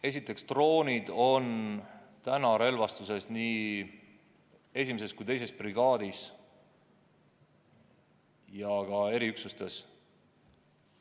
Esiteks, droonid on täna relvastuses nii 1. kui 2. brigaadis ja ka eriüksustes.